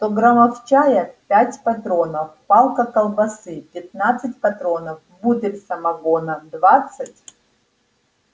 сто граммов чая пять патронов палка колбасы пятнадцать патронов бутыль самогона двадцать